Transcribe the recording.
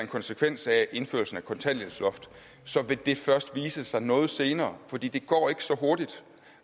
konsekvens af indførelsen af kontanthjælpsloftet vil det først vise sig noget senere for det går ikke så hurtigt